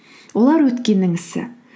олар өткеннің ісі